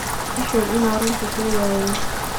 Iisheg ina runta sheegayo.